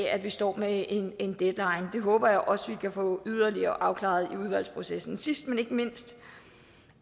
at vi står med en deadline det håber jeg også vi kan få yderligere afklaret i udvalgsprocessen sidst men ikke mindst